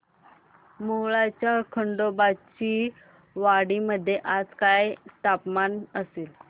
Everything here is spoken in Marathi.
मोहोळच्या खंडोबाची वाडी मध्ये आज काय तापमान असेल